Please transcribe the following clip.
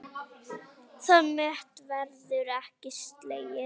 Það met verður ekki slegið.